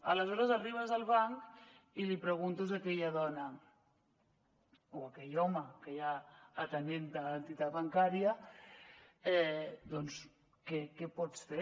aleshores arribes al banc i li preguntes a aquella dona o a aquell home que hi ha atenent te a l’entitat bancària doncs que què pots fer